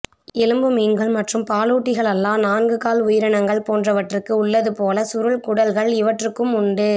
எலும்பு மீன்கள் மற்றும் பாலூட்டிகளல்லா நான்கு கால் உயிரினங்கள் போன்றவற்றுக்கு உள்ளது போல சுருள் குடல்கள் இவற்றுக்கும் உண்டு